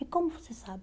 E como você sabe?